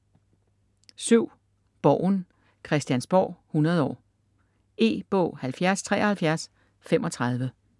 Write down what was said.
Borgen: Christiansborg 100 år E-bog 707335